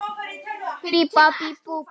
Hver heldur að hann sé?